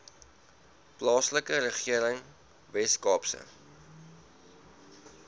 plaaslike regering weskaapse